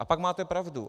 A pak máte pravdu.